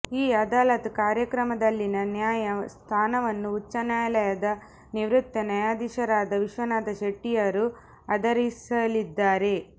ಈ ಅದಾಲತ್ ಕಾರ್ಯಕ್ರಮದಲ್ಲಿನ ನ್ಯಾಯ ಸ್ಥಾನವನ್ನು ಉಚ್ಛನ್ಯಾಯಾಲಯದ ನಿವೃತ್ತ ನ್ಯಾಯಧೀಶರಾದ ವಿಶ್ವನಾಥ ಶೆಟ್ಟಿಯವರು ಆದರಿಸಲಿದ್ದಾರೆ